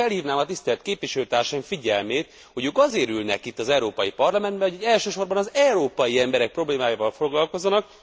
Csak felhívnám a tisztelt képviselőtársaim figyelmét, hogy azért ülnek itt az Európai Parlamentben, hogy elsősorban az európai emberek problémáival foglalkozzanak.